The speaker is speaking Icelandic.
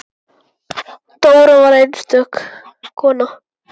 Dóra var einstök kona.